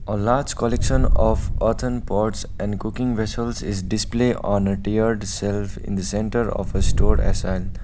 a large collection of earthen pots and cooking vessels is display on a tiered shelf in the center of a store assign.